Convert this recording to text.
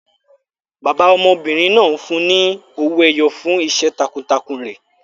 Bàbá ọmọbìnrin náà fún un ní owó ẹyọ fún iṣẹ́ takuntakun rẹ̀.